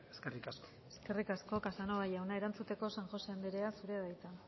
eskerrik asko eskerrik asko casanova jauna erantzuteko san josé andrea zurea da hitza